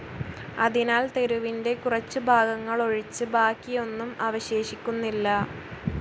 അതിനാൽ തെരുവിന്റെ കുറച്ചുഭാഗങ്ങളോഴിച്ച് ബാക്കിയൊന്നും അവശേഷിക്കുന്നില്ല.